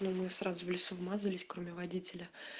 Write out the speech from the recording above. но мы сразу в лесу вмазались кроме водителя